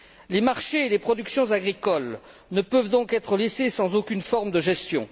Les marchés et les productions agricoles ne peuvent donc être laissés sans aucune forme de gestion.